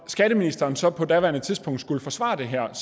skatteministeren så på daværende tidspunkt skulle forsvare det her